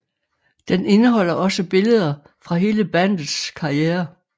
Den indeholder også billeder fra hele bandets karriere